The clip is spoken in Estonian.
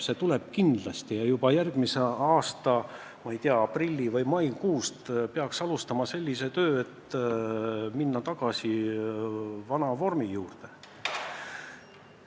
See tuleb kindlasti ja juba järgmise aasta, ma ei tea, aprilli- või maikuus peaks alustama tööd selle nimel, et minna tagasi vana vormi juurde.